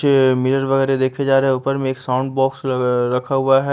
जो ये मिरर वगैरा देखे जा रहे हैं ऊपर में एक साउंड बॉक्स ल अ रखा हुआ है।